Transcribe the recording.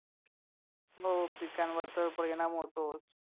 हो पिकांवर तर परिणाम होतोच